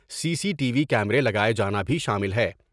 سی C T V کیمرے لگاۓ جانا بھی شامل ہے ۔